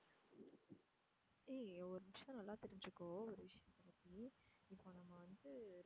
ஏய் ஒரு நிமிஷம் நல்லா தெரிஞ்சுக்கோ ஒரு விஷயத்தை பத்தி இப்போ நம்ம வந்து